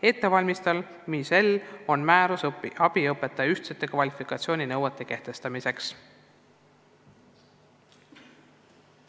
Ettevalmistamisel on määrus abiõpetaja ühtsete kvalifikatsiooninõuete kehtestamiseks.